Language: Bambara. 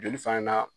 Joli fana na